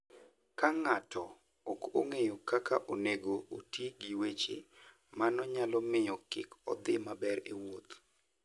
Ka ng'ato ok ong'eyo kaka onego oti gi weche, mano nyalo miyo kik odhi maber e wuoth.